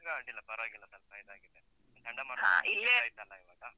ಇವಾಗ ಅಡ್ಡಿಲ್ಲ, ಪರ್ವಾಗಿಲ್ಲ ಸ್ವಲ್ಪ ಇದಾಗಿದೆ, ಚಂಡಮಾರುತ ಆಯ್ತಲ್ಲ ಇವಗ?